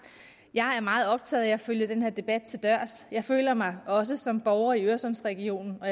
jeg er meget optaget af at følge den her debat til dørs jeg føler mig også som borger i øresundsregionen og